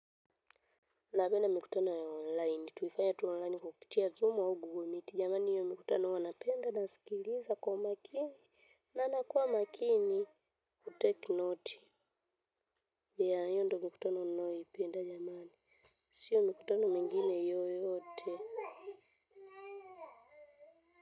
Napenda mikutano ya online. Tuifanya tu online kupitia zoom au google miti. Jamani hiyo mikutano wanapenda nasikiliza kwa makini na nakua makini kuteki noti. Ya hiyo ndo mikutano ninayoipenda jamani, sio mikutano mengine yoyote.